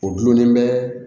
O dulonnen bɛ